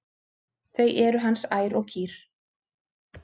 Þau eru hans ær og kýr.